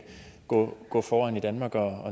gå gå foran i danmark og